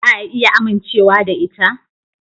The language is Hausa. Za a iya amincewa da ita?